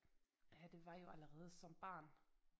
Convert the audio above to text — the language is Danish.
Ja det var jo allerede som barn